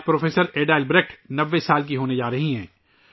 professor Ada Albrecht آج 90 سال کی ہو گئی ہیں